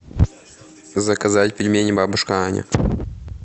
заказать пельмени бабушка аня